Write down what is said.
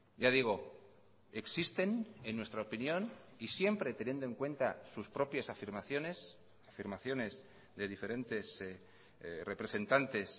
ya digo existen en nuestra opinión y siempre teniendo en cuenta sus propias afirmaciones afirmaciones de diferentes representantes